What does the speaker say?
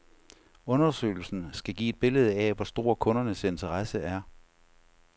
Undersøgelsen skal give et billede af, hvor stor kundernes interesse er.